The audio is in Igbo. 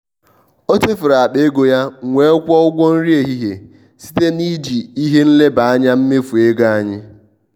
ọ chefuru akpa ego ya m wee kwụọ ụgwọ nri ehihie site na iji ihe nleba anya mmefu ego anyị.